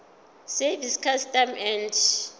service customs and